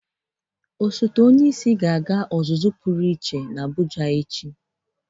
Osote onyeisi ga-aga ọzụzụ pụrụ iche n'Abụja echi.